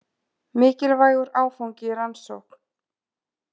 Mikilvægur áfangi í rannsókn